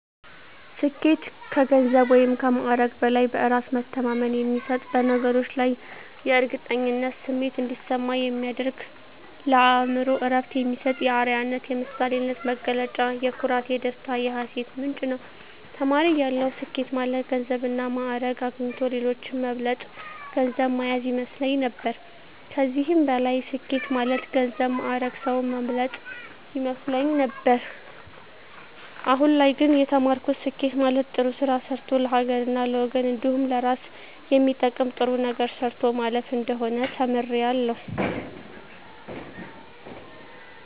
ስኬት ከገንዘብ ወይም ከማዕረግ በላይ በእራስ መተማመን የሚሰጥ በነገሮች ላይ የእርግጠኝነት ስሜት እንዲሰማ የሚያደርግ ለአእምሮ እረፍት የሚሰጥ የአረያነት የምሳሌነት መገለጫ የኩራት የደስታ የሀሴት ምንጭ ነዉ። ተማሪ እያለሁ ስኬት ማለት ገንዘብና ማእረግ አግኝቶ ሌሎችን መብለጥ ገንዘብ ማያዝ ይመስለኝ ነበር ከዚህም በላይ ስኬት ማለት ገንዘብ ማእረግ ሰዉን መብለጥ ይመስለኝ ነበር አሁን ላይ ግን የተማርኩት ስኬት ማለት ጥሩ ስራ ሰርቶ ለሀገርና ለወገን እንዲሁም ለእራስ የሚጠቅም ጥሩ ነገር ሰርቶ ማለፍ እንደሆነ ተምሬያለሁ።